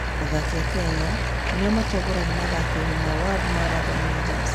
Athaki a Kenya nĩo matongoragia mathako-inĩ ma World Marathon Majors.